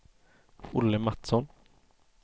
Olle Mattsson